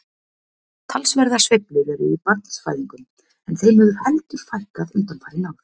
Talsverðar sveiflur eru í barnsfæðingum en þeim hefur heldur fækkað undanfarin ár.